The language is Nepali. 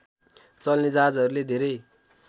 चल्ने जहाजहरूले धेरै